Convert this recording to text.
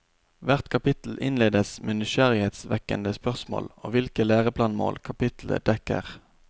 Hvert kapittel innledes med nysgjerrighetsvekkende spørsmål og hvilke læreplanmål kapitlet dekker.